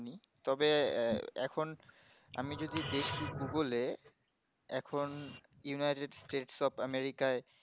হম তবে এ এখন আমি যদি দেখি google এ এখন united state for America য়